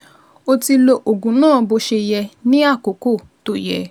O ti lo oògùn náà bó ṣe yẹ ní àkókò tó yẹ